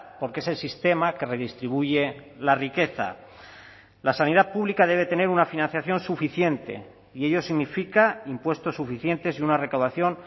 porque es el sistema que redistribuye la riqueza la sanidad pública debe tener una financiación suficiente y ello significa impuestos suficientes y una recaudación